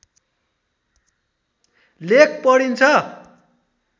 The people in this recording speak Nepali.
लेख पढिन्छ